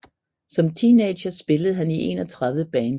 Som teenager spillede han i 31 bands